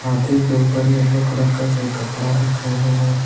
हाथी के ऊपर येलो कलर का कोई कपड़ा रखा हुआ है।